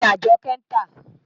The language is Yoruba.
Kí ni Àjọ́kẹ́ ń tà?